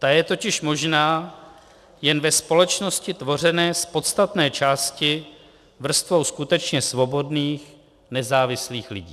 Ta je totiž možná jen ve společnosti tvořené z podstatné části vrstvou skutečně svobodných, nezávislých lidí.